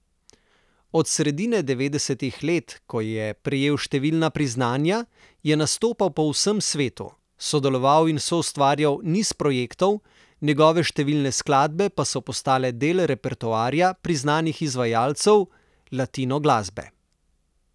Od sredine devetdesetih let, ko je prejel številna priznanja, je nastopal po vsem svetu, sodeloval in soustvarjal niz projektov, njegove številne skladbe pa so postale del repertoarja priznanih izvajalcev latinoglasbe.